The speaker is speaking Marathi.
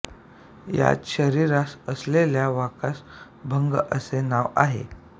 यात शरीरास असलेल्या वाकास भंग असे नाव आहे